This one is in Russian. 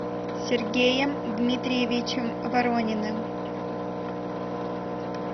сергеем дмитриевичем ворониным